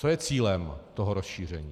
Co je cílem toho rozšíření?